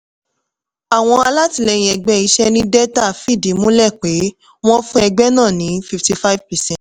àwọn alátìlẹyìn ẹgbẹ́ iṣẹ́ ní delta fìdí múlẹ̀ pé wọ́n fún ẹgbẹ́ náà ní fifty-five percent